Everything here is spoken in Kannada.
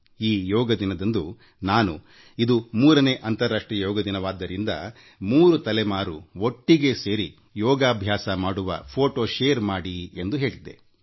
ಈ ಯೋಗ ದಿನದಂದು ಇದು3 ನೇ ಅಂತಾರಾಷ್ಟ್ರೀಯ ಯೋಗ ದಿನವಾದ್ದರಿಂದ ಮೂರು ತಲೆಮಾರಿನವರು ಒಟ್ಟಿಗೇ ಸೇರಿ ಯೋಗ ಮಾಡುವ ಫೋಟೊ ಶೇರ್ ಮಾಡಿ ಎಂದು ಹೇಳಿದ್ದೆ